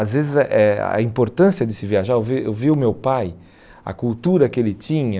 Às vezes eh a importância de se viajar... Eu vi eu vi o meu pai, a cultura que ele tinha...